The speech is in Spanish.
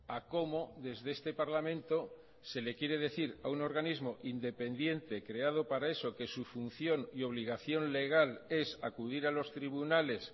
a cómo desde este parlamento se le quiere decir a un organismo independiente creado para eso que su función y obligación legal es acudir a los tribunales